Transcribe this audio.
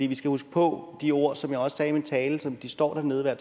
vi skal huske på de ord som jeg også sagde i min tale som de står dernede og